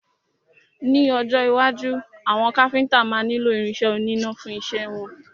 Ní ọjọ́ iwájú, àwọn Káfíntà máa nílo irin isẹ́ oníná fún isẹ́ wọn.